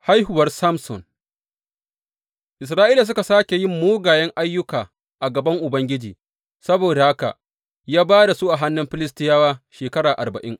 Haihuwar Samson Isra’ilawa suka sāke yin mugayen ayyuka a gaban Ubangiji, saboda haka ya ba da su a hannun Filistiyawa shekara arba’in.